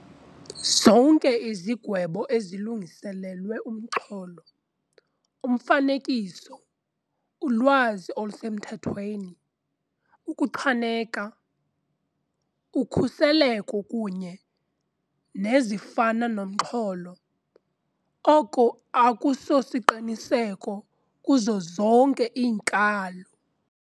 Zonke izigwebo ezilungiselelwe umxholo, umfanekiso, ulwazi olusemthethweni, ukuchaneka, ukhuseleko kunye nezifana nomxholo, oko akusosiqiniseko kuzo zonke iinkalo.